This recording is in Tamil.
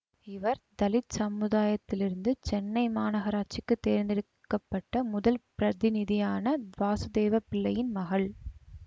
இவர் தலித் சமுதாயத்திலிருந்து சென்னை மாநகராட்சிக்குத் தேர்ந்தெடுக்க பட்ட முதல் பிரதிநிதியான வாசுதேவப்பிள்ளையின் மகள்